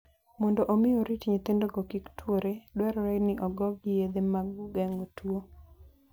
Mondo omi orit nyithindogo kik tuore, dwarore ni ogogi yedhe mag geng'o tuwo.